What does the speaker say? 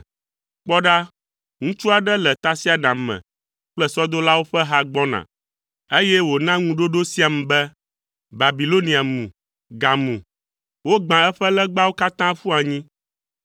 Kpɔ ɖa, ŋutsu aɖe le tasiaɖam me kple sɔdolawo ƒe ha gbɔna, eye wòna ŋuɖoɖo siam be, ‘Babilonia mu, gamu. Wogbã eƒe legbawo katã ƒu anyi.’ ”